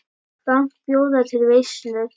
Frank bjóða til veislu.